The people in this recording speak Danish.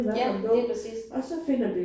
Ja lige præcis